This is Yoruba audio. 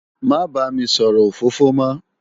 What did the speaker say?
Má bá mi sòrò ófófó mò